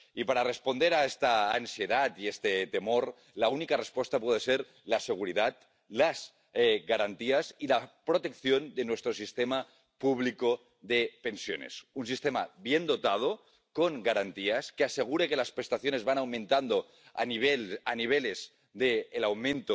Y para responder a esta ansiedad y a este temor la única respuesta puede ser la seguridad, las garantías y la protección de nuestro sistema público de pensiones un sistema bien dotado, con garantías, que asegure que las prestaciones van aumentando al mismo nivel que